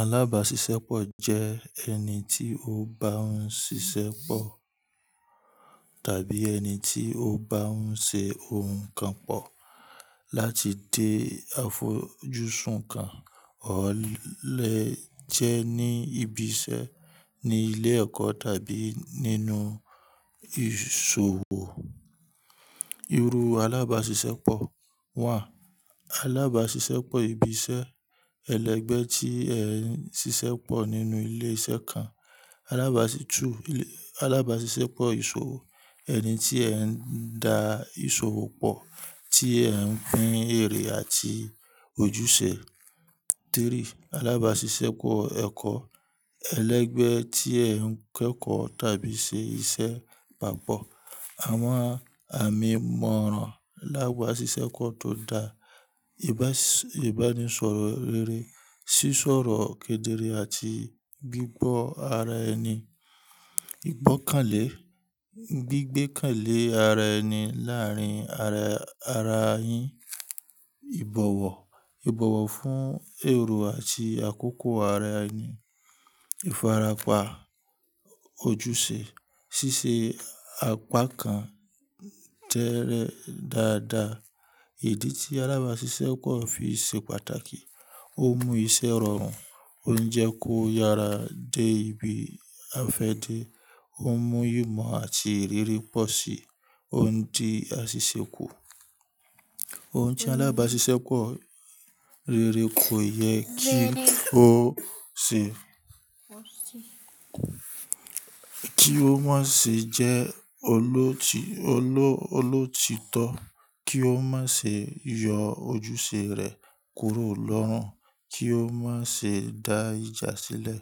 Alabaṣiṣẹ́pọ̀ jẹ́ ẹni tí ó bá ń ṣiṣẹ́ pọ̀, tàbí ẹni tí ó bá ń ṣe ohun kan pọ̀ láti dé àfojúsùn kan. Ó lè jẹ́ ní ibi iṣẹ́, ní ilé ẹ̀kọ́ tàbí nínú ìṣòwò. Iru alabaṣiṣẹ́pọ̀ wà. Alabaṣiṣẹ́pọ̀ ibi iṣẹ́: ẹlẹgbẹ́ tí ẹ ń ṣiṣẹ́ pọ̀ nínú ilé iṣẹ́ kan. Alabaṣiṣẹ́pọ̀ ìṣòwò: ẹni tí ẹ ń dá ìṣòwò pọ̀, tí ẹ ń pín èrè àti ojúṣe. Alabaṣiṣẹ́pọ̀ ẹ̀kọ́: ẹlẹgbẹ́ tí ẹ ń kẹ́kọ̀ọ́ tàbí ṣe iṣẹ́ papọ̀. Àwọn àmì ìmọ̀ràn alábàṣiṣẹ́pọ̀ tó dáa. Ìbánisọ̀rọ̀ rere, sísọ̀rọ̀ kedere àti gbígbọ́ ara ẹni. Ìgbọ́kànlé, gbígbékànlé ara ẹni láàárín ara yin. Ìbọ̀wọ̀, Ìbọ̀wọ̀ fún èrò àti àkókò ara ẹni. Ìfarapa, ojúṣe, ṣíṣe apákan jẹ́ẹ́rẹ́ dáadáa. Ìdí tí alabaṣiṣẹ́pọ̀ fi ṣe pàtàkì. Ó mú iṣẹ́ rọrùn, ó ń jẹ́ kó yára dé ibi afẹ́de. Ó mú ìmọ̀ àti ìrírí pọ̀ sí òun ti a ṣèṣe kù. Ohun tí alabaṣiṣẹ́pọ̀ rere kò yẹ kí ó má ṣe jẹ́ olótítọ́, kí ó má ṣe yọ ojúṣe rẹ̀ kúrò lọ́rùn, kí ó má ṣe da ìjà sílẹ̀.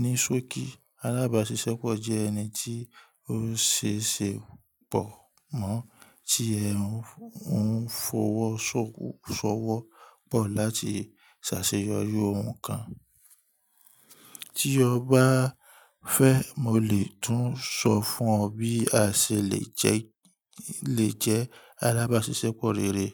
Nisoki alabaṣiṣẹ́pọ̀ jẹ́ ẹni tí ó ṣe ṣe pọ̀ mọ́, tí ẹ ń fọwọ́ ṣọ́wọ́ pọ̀ láti ṣàṣeyọri ohun kan. Tí o bá fẹ́, mo lè tún sọ fún ọ bí a ṣe lè jẹ́ alabaṣiṣẹ́pọ̀ rere.